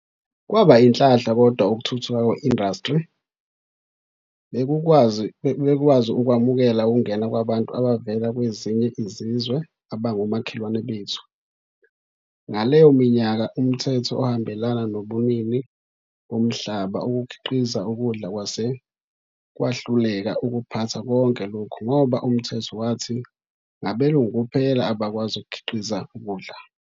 Kwaba inhlanhla kodwa ukuthuthuka kwe-industry bekukwazi ukwamukela ukungena kwabantu abavela kwezinye izizwe, abangomakhelwane bethu. Ngaleyo minyaka umthetho ohambelana nobunini bomhlaba ukukhiqiza ukudla kwase kwahluleka ukuphatha konke lokhu ngoba umthetho wathi ngabelungu kuphela abakwazi ukukhiqiza ukudla.